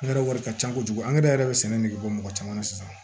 Angɛrɛ wari ka ca kojugu an yɛrɛ bɛ sɛnɛ nege bɔ mɔgɔ caman na sisan